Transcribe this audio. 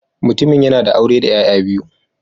Mutumin yana da aure da ’ya’ya biyu